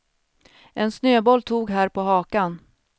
En snöboll tog här på hakan.